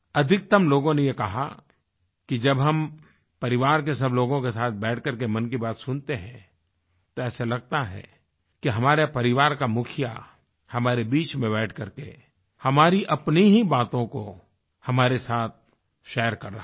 अधिकतम लोगों ने ये कहा कि जब हम परिवार के सब लोगों के साथ बैठकर के मन की बात सुनते हैं तो ऐसे लगता है कि हमारे परिवार का मुखिया हमारे बीच में बैठ करके हमारी अपनी ही बातों को हमारे साथ शेयर कर रहा है